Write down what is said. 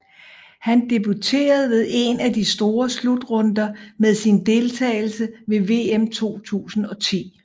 Han debuterede ved en af de store slutrunder med sin deltageles ved VM 2010